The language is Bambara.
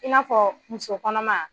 I n'a fɔ muso kɔnɔma